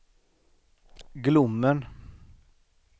Glommen